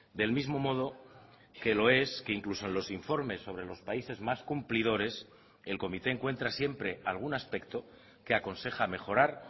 del mismo modo que lo es que incluso en los informes sobre los países más cumplidores el comité encuentra siempre algún aspecto que aconseja mejorar